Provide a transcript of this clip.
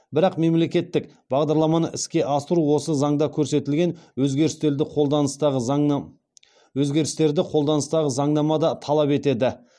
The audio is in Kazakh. бірақ мемлекеттік бағдарламаны іске асыру осы заңда көрсетілген өзгерістерді қолданыстағы заңнамада талап етеді